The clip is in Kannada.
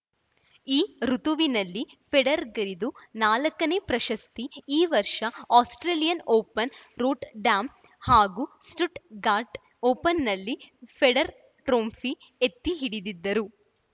ಈ ಋುತುವಿನಲ್ಲಿ ಫೆಡರರ್‌ಗಿದು ನಾಲ್ಕ ನೇ ಪ್ರಶಸ್ತಿ ಈ ವರ್ಷ ಆಸ್ಪ್ರೇಲಿಯನ್‌ ಓಪನ್‌ ರೂಟ್ ಡ್ಯಾಮ್‌ ಹಾಗೂ ಸ್ಟುಟ್‌ಗಾರ್ಟ್‌ ಓಪನ್‌ನಲ್ಲಿ ಫೆಡರರ್‌ ಟ್ರೋಫಿ ಎತ್ತಿಹಿಡಿದಿದ್ದರು